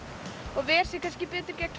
og ver sig betur gegn